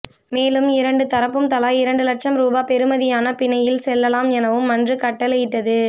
மேலும் இரண்டு தரப்பும் தலா இரண்டுலட்ஷம் ரூபா பெறுமதியான பிணையில் செல்லலாம் எனவும் மன்று கட்டளையிட்டது